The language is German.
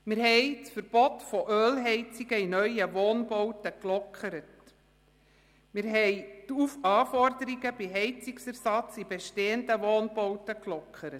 Wir haben das Verbot von Ölheizungen in neuen Wohnbauten sowie die Anforderungen beim Heizungsersatz in bestehenden Wohnbauten gelockert.